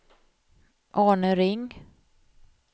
Arne Ring